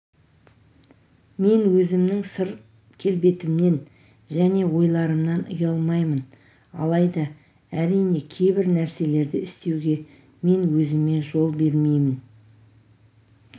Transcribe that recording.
мен өзімнің сырт келбетімнен және ойларымнан ұялмаймын алайда әрине кейбір нәрселерді істеуге мен өзіме жол бермеймін